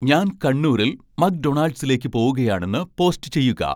ഞാൻ കണ്ണൂരിൽ മക്ഡൊണാൾഡ്സിലേക്ക് പോകുകയാണെന്ന് പോസ്റ്റ് ചെയ്യുക